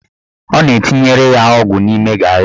Ọ na-etinyere ya ọgwụ n'ime garị.